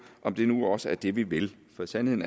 om det nu også er det vi vil for sandheden